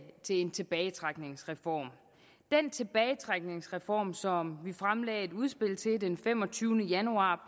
til en tilbagetrækningsreform den tilbagetrækningsreform som vi fremlagde et udspil til den femogtyvende januar